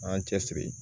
An y'an cɛsiri